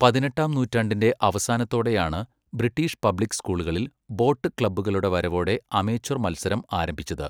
പതിനെട്ടാം നൂറ്റാണ്ടിന്റെ അവസാനത്തോടെയാണ് ബ്രിട്ടീഷ് പബ്ലിക് സ്കൂളുകളിൽ, ബോട്ട് ക്ലബ്ബുകളുടെ വരവോടെ അമേച്വർ മത്സരം ആരംഭിച്ചത്.